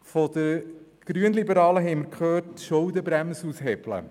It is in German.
Von den Grünliberalen haben wir gehört: Schuldenbremse aushebeln.